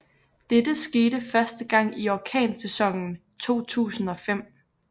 Dette skete første gang i orkansæsonen 2005